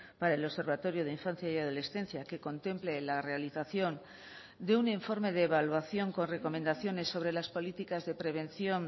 para el observatorio de infancia y adolescencia que contemple la realización de un informe de evaluación con recomendaciones sobre las políticas de prevención